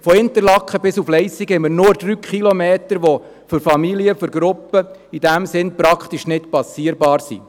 Von Interlaken bis Leissigen sind es nur 3 Kilometer, die für Familien und Gruppen praktisch nicht passierbar sind.